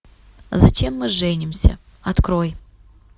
зачем мы женимся открой